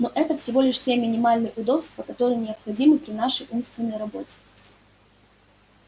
но это всего лишь те минимальные удобства которые необходимы при нашей умственной работе